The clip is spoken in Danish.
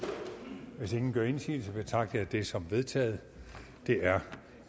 hvis ingen gør indsigelse betragter jeg det som vedtaget det er